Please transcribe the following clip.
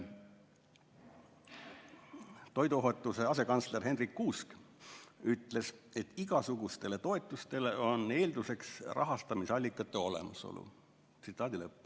Toiduohutuse asekantsler Hendrik Kuusk ütles, et igasugustele toetustele on eelduseks rahastamisallikate olemasolu.